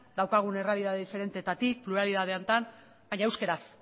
daukagun errealitate diferentetatik pluralitate honetan baina euskaraz